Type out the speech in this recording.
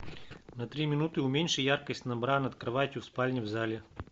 на три минуты уменьши яркость на бра над кроватью в спальне в зале